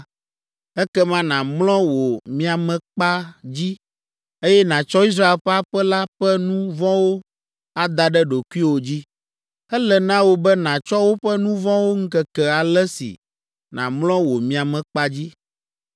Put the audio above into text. “Ekema nàmlɔ wò miamekpa dzi, eye nàtsɔ Israel ƒe aƒe la ƒe nu vɔ̃wo ada ɖe ɖokuiwò dzi. Ele na wò be nàtsɔ woƒe nu vɔ̃wo ŋkeke ale si nàmlɔ wò miamekpa dzi.